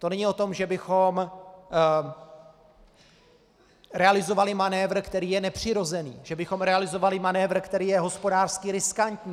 To není o tom, že bychom realizovali manévr, který je nepřirozený, že bychom realizovali manévr, který je hospodářsky riskantní.